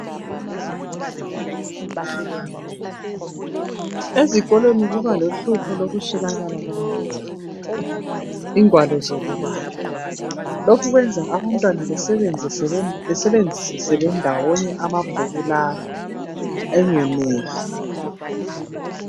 Ezikolweni kuba lohlupho lokuswelakala kwamabhuku ingwalo zokubala lokhu kwenza abantwana besebenzise bendawonye amabhuku la engeneli.